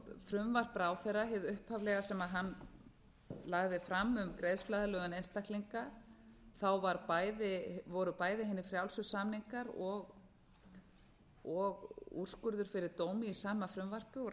frumvarp ráðherra hefur upphaflega sem hann lagði fram um greiðsluaðlögun einstaklinga voru bæði hinir frjálsu samningar og úrskurður fyrir dómi í sama frumvarpi og